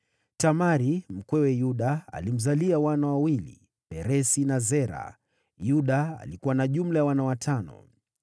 Tamari, mkwewe Yuda, alimzalia wana wawili: Peresi na Zera. Yuda alikuwa na jumla ya wana watano.